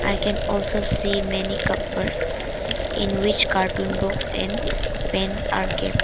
I can also see many cupboards in which carton box and paints are kept.